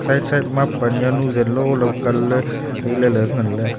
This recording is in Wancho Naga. side side ma pan jawnu zanlo kan ley tai ley.